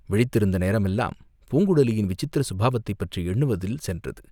விழித்திருந்த நேரமெல்லாம் பூங்குழலியின் விசித்திர சுபாவத்தைப் பற்றி எண்ணுவதில் சென்றது.